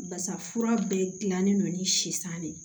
Basa fura bɛɛ gilannen don ni sisan de ye